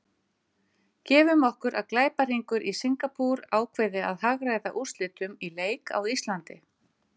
Gefum okkur að glæpahringur í Singapúr ákveði að hagræða úrslitum í leik á Íslandi.